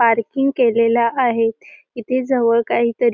parking केलेल्या आहेत इथे जवळ काहीतरी---